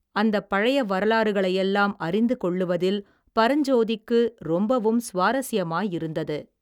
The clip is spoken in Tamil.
அந்தப் பழைய வரலாறுகளையெல்லாம் அறிந்து கொள்ளுவதில் பரஞ்சோதிக்கு ரொம்பவும் சுவாரஸ்யமாயிருந்தது.